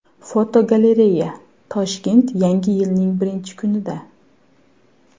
Fotogalereya: Toshkent yangi yilning birinchi kunida.